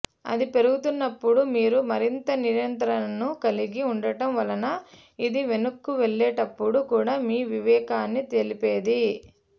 అది పెరుగుతున్నప్పుడు మీరు మరింత నియంత్రణను కలిగి ఉండటం వలన ఇది వైన్కు వెళ్లేటప్పుడు కూడా మీ వివేకాన్ని తెలిపేది